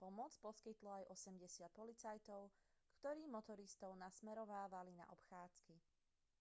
pomoc poskytlo aj 80 policajtov ktorí motoristov nasmerovávali na obchádzky